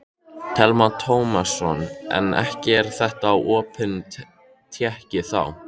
Telma Tómasson: En ekki er þetta opin tékki þá?